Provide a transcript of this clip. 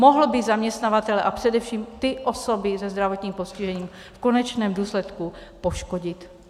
Mohl by zaměstnavatele a především ty osoby se zdravotním postižením v konečném důsledku poškodit.